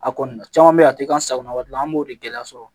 A kɔni caman be yen a ti an sagona wari an b'o de gɛlɛya sɔrɔ